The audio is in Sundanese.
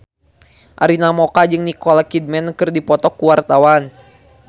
Arina Mocca jeung Nicole Kidman keur dipoto ku wartawan